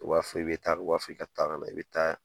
I b'a fɔ i bɛ taa i b'a fɔ i ka taa ka na i bɛ taa